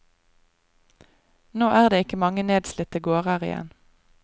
Nå er det ikke mange nedslitte gårder igjen.